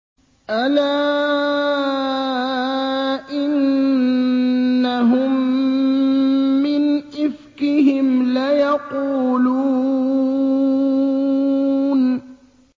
أَلَا إِنَّهُم مِّنْ إِفْكِهِمْ لَيَقُولُونَ